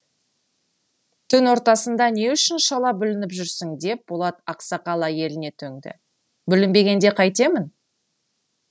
түн ортасында не үшін шала бүлініп жүрсің деп болат ақсақал әйеліне төнді бүлінбегенде қайтемін